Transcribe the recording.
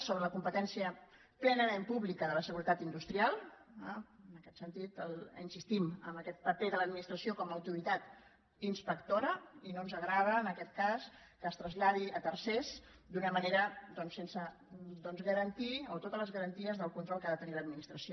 sobre la competència plenament pública de la seguretat industrial eh en aquest sentit insistim en aquest paper de l’administració com a autoritat inspectora i no ens agrada en aquest cas que es traslladi a tercers d’una manera doncs sense totes les garanties del control que ha de tenir l’administració